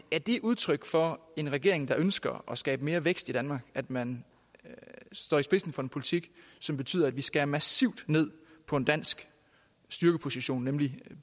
det udtryk for en regering der ønsker at skabe mere vækst i danmark at man står i spidsen for en politik som betyder at vi skærer massivt ned på en dansk styrkeposition nemlig